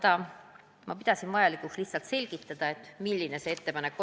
Igal juhul pidasin ma vajalikuks selgitada, milline minu ettepanek oli.